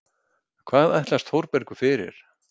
Hvað ætlast Þórbergur fyrir?